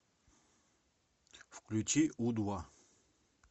включи у два